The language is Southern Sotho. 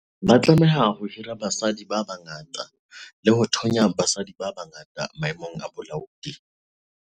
Ba tlameha ho hira basadi ba bangata le ho thonya basadi ba bangata maemong a bolaodi.